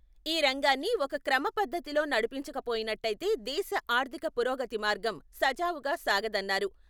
ఈ రంగాన్ని ఒక క్రమపద్ధతిలో నడిపించకపోయినట్టైతే దేశ ఆర్థిక పురోగతి మార్గం, సజావుగా సాగదన్నారు.